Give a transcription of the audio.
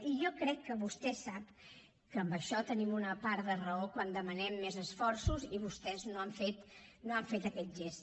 i jo crec que vostè sap que amb això tenim una part de raó quan demanem més esforços i vostès no han fet aquest gest